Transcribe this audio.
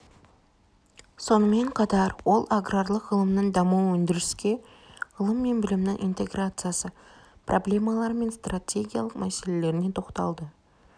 сонымен қатар ол аграрлық ғылымның дамуы өндіріске ғылым мен білімнің интеграциясы проблемалары мен стратегиялық мәселелеріне тоқталды